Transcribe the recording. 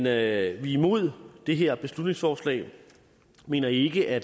er imod det her beslutningsforslag vi mener ikke at